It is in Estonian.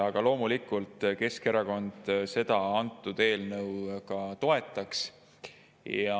Aga loomulikult Keskerakond seda eelnõu toetaks.